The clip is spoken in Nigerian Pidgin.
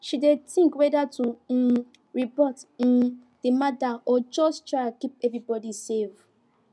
she dey think whether to um report um the matter or just try keep everybody safe